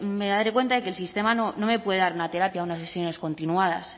me daré cuenta de que el sistema no me puede dar una terapia unas sesiones continuadas